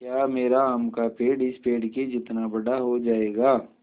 या मेरा आम का पेड़ इस पेड़ के जितना बड़ा हो जायेगा